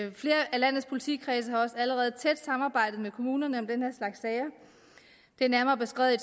landets politikredse har også allerede et tæt samarbejde med kommunerne om den her slags sager det er nærmere beskrevet i